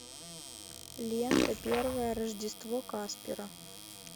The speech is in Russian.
лента первое рождество каспера